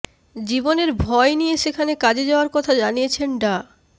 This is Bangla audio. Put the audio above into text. জীবনের ভয় নিয়ে সেখানে কাজে যাওয়ার কথা জানিয়েছেন ডা